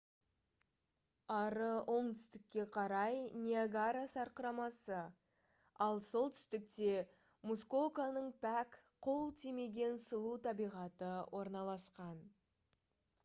ары оңтүстікке қарай ниагара сарқырамасы ал солтүстікте мускоканың пәк қол тимеген сұлу табиғаты орналасқан